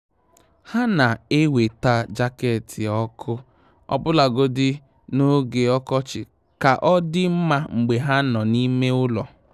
Há nà-èwétá jaket ọ́kụ́ ọbụ́lagodi n’ógè ọkọchị kà ọ́ dị́ mma mgbe há nọ́ n’ime ụ́lọ̀.